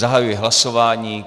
Zahajuji hlasování.